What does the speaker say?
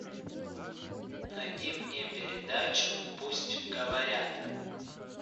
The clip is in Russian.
найди мне передачу пусть говорят